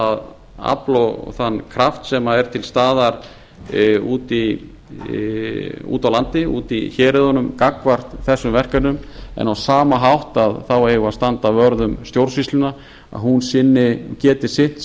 það afl og þann kraft sem er til staðar úti á landi úti í héruðunum gagnvart þessum verkefnum en á sama hátt eigum við að standa vörð um stjórnsýsluna að hún geti sinnt